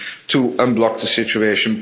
to unblock the situation?